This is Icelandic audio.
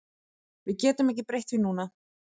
Við getum ekki breytt því núna